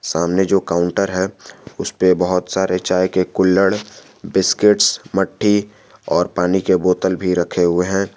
सामने जो काउंटर है उस पे बहुत सारे चाय के कुल्हड़ बिस्किट्स मट्टी और पानी के बोतल भी रखें हुए हैं।